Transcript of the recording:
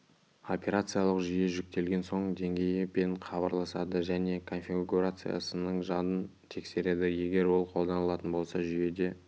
операциялық жүйе жүктелген соң деңгейі пен хабарласады және конфигурациясының жадын тексереді егер ол қолданылатын болса жүйеде